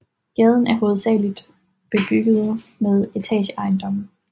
Gaden er hovedsageligt bebygget med etageejendomme